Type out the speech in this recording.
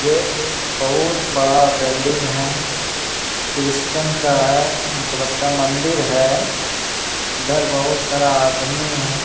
यह एक बहुत बड़ा बिल्डिंग है। क्रिस्चन का है हमको लगता है मंदिर है इधर बहुत सारा आदमी है।